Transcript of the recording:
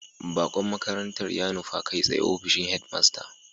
Baqon makarantar ya nufa kai tsaye ofishin head master